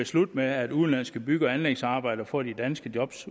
slut med at udenlandske bygge og anlægsarbejdere får de danske job